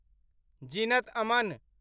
Zeenat Aman